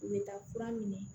U bɛ taa kura minɛ